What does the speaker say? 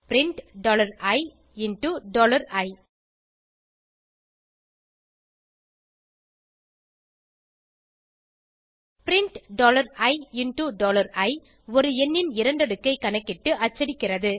print ii print ii ஒரு எண்ணின் இரண்டடுக்கைக் கணக்கிட்டு அச்சடிக்கிறது